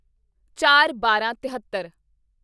ਚਾਰਬਾਰਾਂ ਤਹੇਤਰ